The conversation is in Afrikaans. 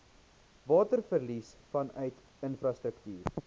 waterverlies vanuit infrastruktuur